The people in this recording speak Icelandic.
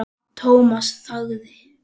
Thomas þagði.